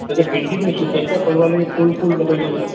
building ରେ ସୁନ୍ଦର କରିବା ପାଇଁ ଫୁଲ ଫୁ ଲଗେଇ ଦଉଛନ